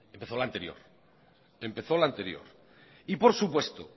lo empezó la anterior por supuesto